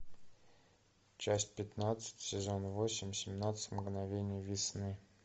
часть пятнадцать сезон восемь семнадцать мгновений весны